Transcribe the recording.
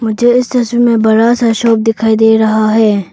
जो इस तस्वीर में बड़ा सा शॉप दिखाई दे रहा है।